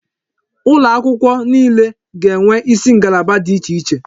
Ụlọ akwụkwọ niile ga-enwe isi ngalaba dị iche iche.